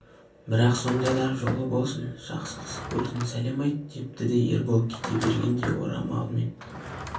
бірақ сонда да жолы болсын жақсы қызық көрсін сәлем айт депті де ербол кете бергенде орамалымен